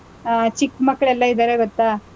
ಆಹ್, ಚಿಕ್ ಮಕ್ಳೆಲ್ಲಾ ಇದಾರೆ ಗೊತ್ತಾ,